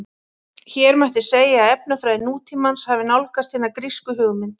Hér mætti segja að efnafræði nútímans hafi nálgast hina grísku hugmynd.